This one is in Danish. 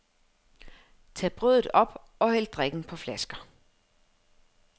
Tag brødet op, og hæld drikken på flasker.